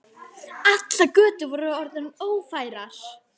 Allar götur voru orðnar ófærar.